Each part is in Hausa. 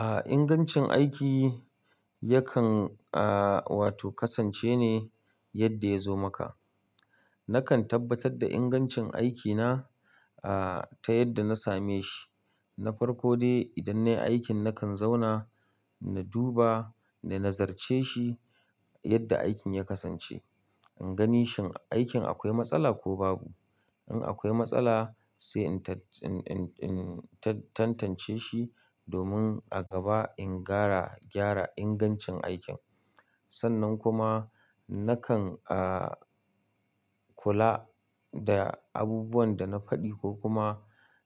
Ah inganci aiki yakan ah wato kasance ne yanda ya zo maka. Nakan tabbatar da ingancin aikina, ah, ta yadda na same shi. Na farko dai idan nayi aikin nakan zauna na duba na nazirce shi yadda aikin ya kasance. In gani shin aikin akwai matsala ko babu. In akwai matsala sai in tan-in-in tantance shi domin a gaba in gara gyara ingancin aikin. Sannan kuma nakan, ah, kula da abubuwan da na faɗi ko kuma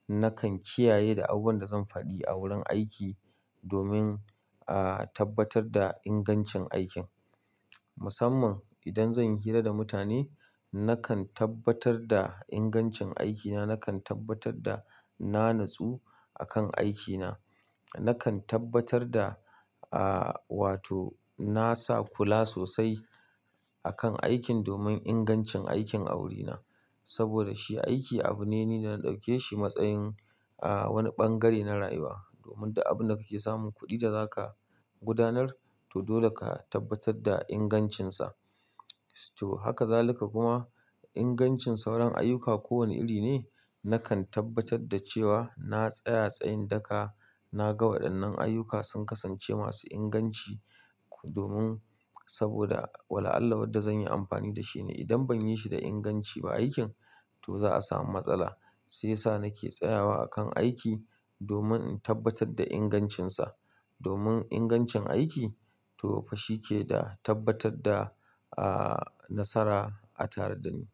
nakan kiyaye da abubuwan da zan faɗi a wurin aiki domin, ah, tabbatar da ingancin aikin. Musamman idan zan yi hira da mutane nakan tabbatar da ingancin aikina, nakan tabbatar da na natsu akan aikina. Nakan tabbatar ah wato nasa kula sosai a kan aikin domin inganci aikin a wuri na saboda shi aiki abu ne ni da na dauke shi matsayin ah wani bangare na rayuwa domin duk abun da kake samun kudi da zaka gudanar to dole ka tabbatar da ingancin sa to haka zalika kuma ingancin sauran ayyuka kowane iri ne nakan tabbatar da cewa na tsaya tsayin daka na ga waɗannan ayyuka sun kasance masu inganci domin saboda wala Allah wadda zan yi amfani da shi ne idan ban yi shi da inganci ba aikin to za a samu matsala. Shi ya sa nake tsayawa akan aiki domin in tabbatar da ingancinsa. Domin ingancin aiki to fa shi ke da tabbatar da, ah, nasara a tare dani.